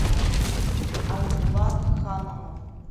айбулат хананов